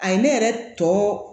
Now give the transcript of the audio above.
A ye ne yɛrɛ tɔ